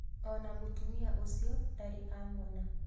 O na mutumia ũcio ndarĩ amũona.